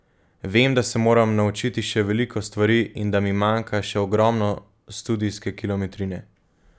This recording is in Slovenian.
Vem, da se moram naučiti še veliko stvari in da mi manjka še ogromno studijske kilometrine.